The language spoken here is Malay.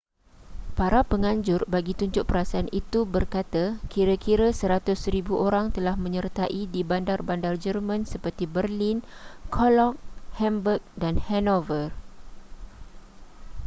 para penganjur bagi tunjuk perasaan itu berkata kira-kira 100,000 orang telah menyertai di bandar-bandar german seperti berlin cologne hamburg dan hanover